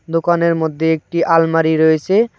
দোকানের মধ্যে একটি আলমারি রয়েছে।